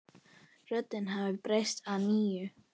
Röddin hafði breyst að nýju.